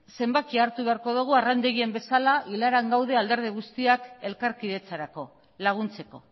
zenbakia hartu beharko dugu arrandegian bezala ilaran gaude alderdi guztiak elkarkidetzarako laguntzeko